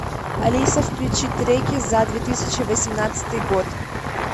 алиса включи треки за две тысячи восемнадцатый год